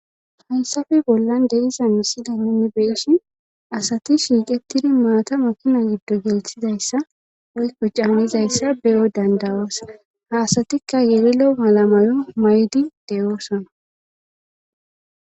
haysafe bollan deizanside nimi beeshin asati shiiqetidi maata makina giddo gelthizayssa woykko caamizayssa beyo dandawoosa ha asatikka yelilo malamayo maydi de7oosona